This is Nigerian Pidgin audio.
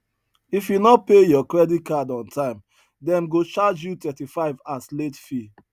if you no pay your credit card on time dem go charge you 35 as late fee